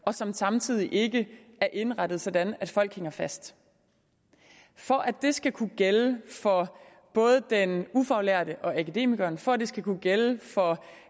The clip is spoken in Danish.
og som samtidig ikke er indrettet sådan at folk hænger fast for at det skal kunne gælde for både den ufaglærte og akademikeren for at det skal kunne gælde for